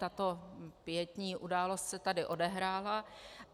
Tato pietní událost se tady odehrála.